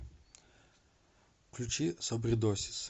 включи собредосис